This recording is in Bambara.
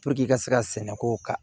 i ka se ka sɛnɛ ko kan